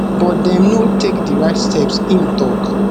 but dem no dey take di right steps im tok